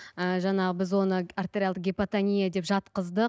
ы жаңағы біз оны артериалдық гипотония деп жатқыздық